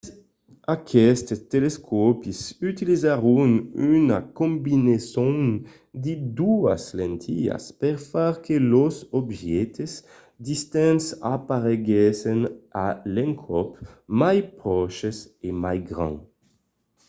aquestes telescòpis utilizèron una combinason de doas lentilhas per far que los objèctes distants apareguèssen a l'encòp mai pròches e mai grands